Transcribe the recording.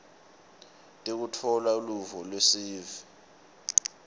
tekutfola luvo lwesive